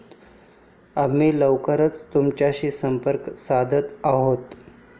आम्ही लवकरच तुमच्याशी संपर्क साधत आहोत.